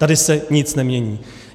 Tady se nic nemění.